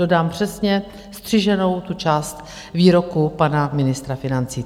Dodám přesně střiženou tu část výroku pana ministra financí.